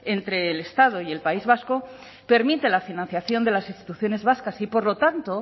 entre el estado y el país vasco permite la financiación de las instituciones vascas y por lo tanto